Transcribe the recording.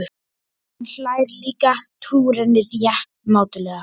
Hann hlær líka, trúir henni rétt mátulega.